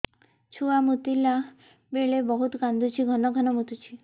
ଛୁଆ ମୁତିଲା ବେଳେ ବହୁତ କାନ୍ଦୁଛି ଘନ ଘନ ମୁତୁଛି